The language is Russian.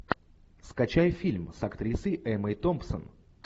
скачай фильм с актрисой эммой томпсон